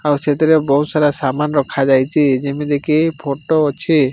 ଆଉ ସେଥିରେ ବୋହୁତ ସାରା ସାମାନ୍ ରଖା ଯାଇଚି ଯେମିତି କି ଫଟୋ ଅଛି।